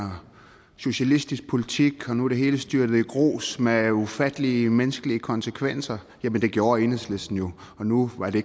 og socialistisk politik og nu er det hele styrtet i grus med ufattelige menneskelige konsekvenser jamen det gjorde enhedslisten jo nu var det